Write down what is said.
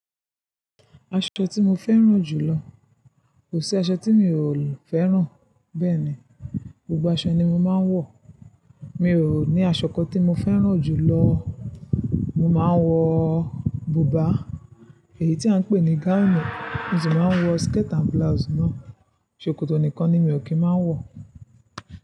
Aṣọ tí mo fẹ́ràn jù lọ, kò sí aṣọ tí mi ò fẹ́ràn bẹ́ẹ̀ni, gbogbo aṣọ ni mo máa ń wọ̀. Mi ò ní aṣọ kan tí mo fẹ́ràn jù lọ. Mo máa ń wọ bùbá, èyí tí à ń pè ní gáùnù, mo sì máa ń wọ skirt and blouse náà. Ṣòkòtò nìkan ni mi ò kí ń máa wọ̀